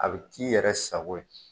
A bɛ'i yɛrɛ sago ye.